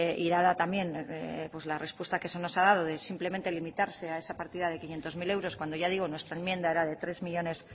y dada también la respuesta que se nos ha dado de simplemente limitarse a esa partida de quinientos mil euros cuando ya digo nuestra enmienda era de tres millónes